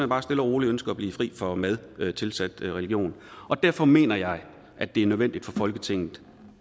bare stille og roligt ønsker at blive fri for mad tilsat religion og derfor mener jeg at det er nødvendigt for folketinget